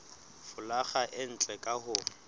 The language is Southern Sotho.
folaga e ntle ka ho